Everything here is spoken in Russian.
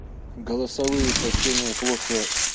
голосовые сообщения плохо